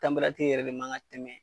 yɛrɛ de man ka tɛmɛ.